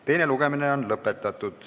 Teine lugemine on lõpetatud.